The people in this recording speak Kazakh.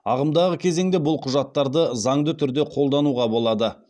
ағымдағы кезеңде бұл құжаттарды заңды түрде қолдануға болады